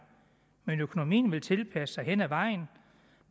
men økonomien vil tilpasse sig hen ad vejen